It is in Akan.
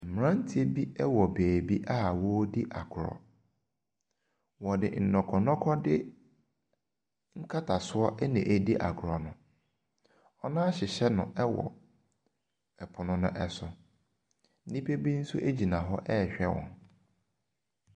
Mmeranteɛ bi wɔ baabi a wɔredi agorɔ. Wɔde nnɔkɔdɔkɔde nkatasoɔ na ɛredi agorɔ no. Wɔahyehyɛ no wɔ pono no so. Nnipa bi nso gyina hɔ rehwɛ wɔn.